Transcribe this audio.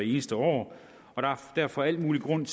eneste år og der er derfor al mulig grund